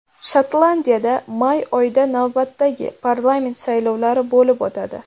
Shotlandiyada may oyida navbatdagi parlament saylovlari bo‘lib o‘tadi.